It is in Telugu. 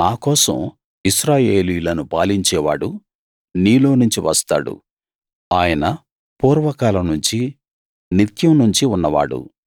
నా కోసం ఇశ్రాయేలీయులను పాలించేవాడు నీలోనుంచి వస్తాడు ఆయన పూర్వకాలం నుంచి నిత్యం నుంచి ఉన్నవాడు